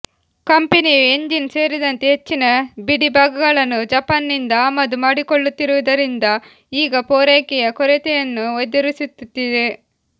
ಕಂಪನಿಯು ಎಂಜಿನ್ ಸೇರಿದಂತೆ ಹೆಚ್ಚಿನ ಬಿಡಿಭಾಗಗಳನ್ನು ಜಪಾನಿನಿಂದ ಆಮದು ಮಾಡಿಕೊಳ್ಳುತ್ತಿರುವುದರಿಂದ ಈಗ ಪೂರೈಕೆಯ ಕೊರತೆಯನ್ನು ಎದುರಿಸುತ್ತಿದೆ